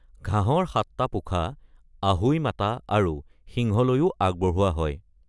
ঘাঁহৰ সাতটা পোখা অহোই মাতা আৰু সিংহলৈও আগবঢ়োৱা হয়।